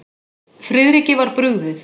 Friðriki var brugðið.